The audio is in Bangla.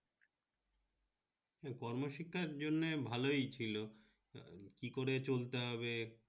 কর্ম শিক্ষার জন্য ভালই ছিল, কি করে চলতে হবে?